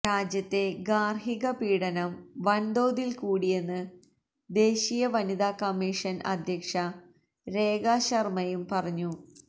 രാജ്യത്തെ ഗാര്ഹിക പീഡനം വന്തോതില് കൂടിയെന്ന് ദേശീയ വനിതാ കമ്മിഷന് അധ്യക്ഷ രേഖാ ശര്മ്മയും പറഞ്ഞു